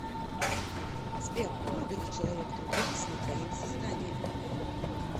сбер а много ли человек трудились над твоим созданием